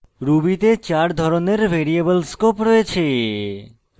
ruby তে চার ধরনের ভ্যারিয়েবল scopes রয়েছে